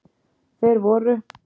Þeir voru